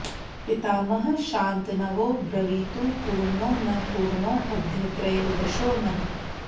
पितामहः शान्तनवो ब्रवीतु पूर्णो न पूर्णोऽद्य त्रयोदशो नः